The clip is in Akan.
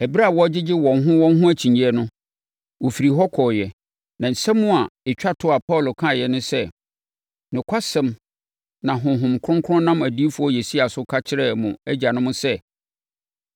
Ɛberɛ a wɔregyegye wɔn ho wɔn ho akyinnyeɛ no, wɔfirii hɔ kɔeɛ. Na asɛm a ɛtwa toɔ a Paulo kaeɛ ne sɛ. “Nokwasɛm na Honhom Kronkron nam Odiyifoɔ Yesaia so ka kyerɛɛ mo agyanom sɛ,